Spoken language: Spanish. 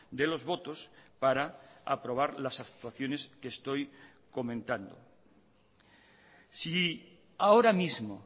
de los votos para aprobar las actuaciones que estoy comentando si ahora mismo